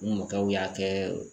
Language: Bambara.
U mɔkɛw y'a kɛ